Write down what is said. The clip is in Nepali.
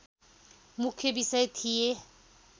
मुख्य विषय थिए।